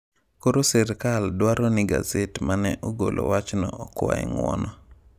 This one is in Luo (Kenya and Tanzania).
Koro sirkal dwaro ni gaset ma ne ogolo wachno okwaye ng’uono.